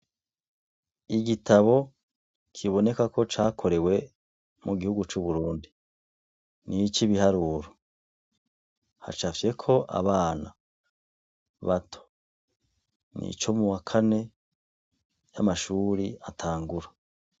Igitabo kiboneka ko cakorewe mu gihugu c'uburundi n'igitabo c'ibiharuro hacapfyeko abana bato, n'ico muwa kane amashuri atangura.